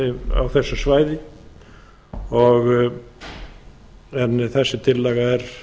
á þessu svæði en þessi tillaga er